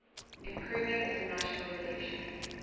improving international relations